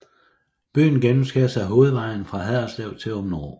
Byen gennemskæres af hovedvejen fra Haderslev til Aabenraa